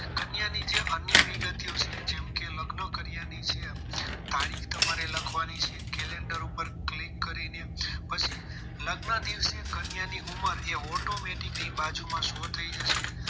અન્ય વિગતો જેમકે લગ્ન કર્યાની છે તારીખ તમારે લખવાની છે calendar ઉપર click કરી ને પછી લગ્ન દિવસે કન્યા ઉંમર એ automatic અહીં બાજુમાં show થઈ જશે